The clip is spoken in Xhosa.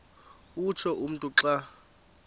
utsho umntu xa